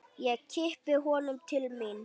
Ég kippi honum til mín.